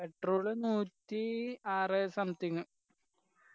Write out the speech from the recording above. petrol ന് നൂറ്റി ആറ് something